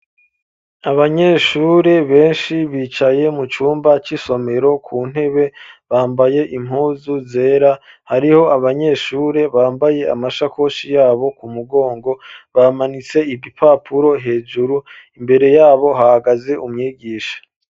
Abanyeshure benshi bicaye mu cumba c'isomero ku ntebe, bambaye impuzu zera hariho abanyeshure bambaye amashakoshi yabo ku mugongo bamanitse ibipapuro hejuru imbere yabo hahagaze umyigisha.